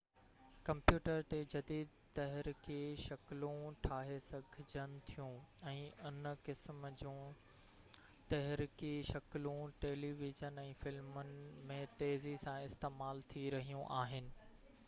computer تي جديد تحرڪي شڪلون ٺاهي سگهجن ٿيون ۽ ان قسم جون تحرڪي شڪلون ٽيلي ويزن ۽ فلمن ۾ تيزي سان استعمال ٿي رهيون آهن